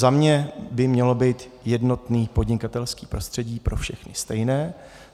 Za mě by mělo být jednotné podnikatelské prostředí, pro všechny stejné.